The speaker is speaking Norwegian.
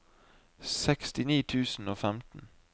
sekstini tusen og femten